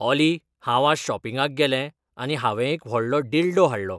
ऑली हांव आज शॉपिंगाक गेलें आनी हांवें एक व्हडलो डील्डो हाडलो